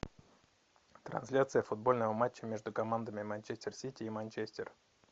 трансляция футбольного матча между командами манчестер сити и манчестер